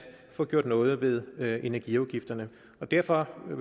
få gjort noget ved ved energiafgifterne og derfor vil